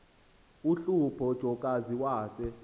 uhlupho jokazi wase